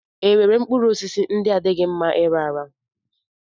E nwere mkpụrụosisi ndị adịghị mma ịra ara?